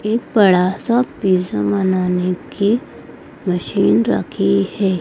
एक बड़ा सा पिज्जा बनाने की मशीन रखी है।